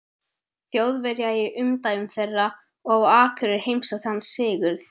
Þjóðverja í umdæmum þeirra, og á Akureyri heimsótti hann Sigurð